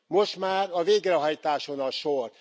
Most már a végrehajtáson a sor.